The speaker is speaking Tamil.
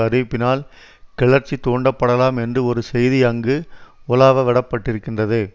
அறிவிப்பினால் கிளர்ச்சி தூண்டப்படலாம் என்று ஒரு செய்தி அங்கு உலாவ வடப்பட்டிருக்கின்றது